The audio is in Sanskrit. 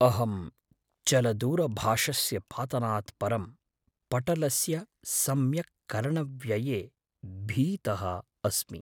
अहं चलदूरभाषस्य पातनात् परं पटलस्य सम्यक्करणव्यये भीतः अस्मि।